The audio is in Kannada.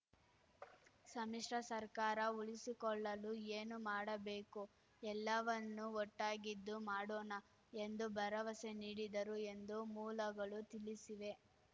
ಸಮ್ಮಿಶ್ರ ಸರ್ಕಾರ ಉಳಿಸಿಕೊಳ್ಳಲು ಏನು ಮಾಡಬೇಕೋ ಎಲ್ಲವನ್ನೂ ಒಟ್ಟಾಗಿದ್ದು ಮಾಡೋಣ ಎಂದು ಭರವಸೆ ನೀಡಿದರು ಎಂದು ಮೂಲಗಳು ತಿಳಿಸಿವೆ